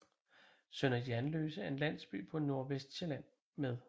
Sønder Jernløse er en landsby på Nordvestsjælland med